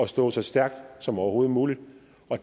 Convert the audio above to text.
stå så stærkt som overhovedet muligt